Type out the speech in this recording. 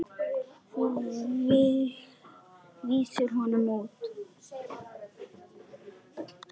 Þú vísaðir honum út.